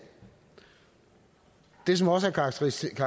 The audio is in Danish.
det som også er karakteristisk